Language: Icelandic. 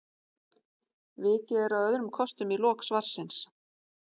vikið er að öðrum kostum í lok svarsins